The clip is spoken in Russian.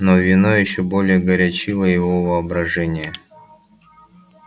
но вино ещё более горячило его воображение